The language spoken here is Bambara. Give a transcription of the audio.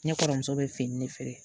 Ne kɔrɔmuso bɛ fini de feere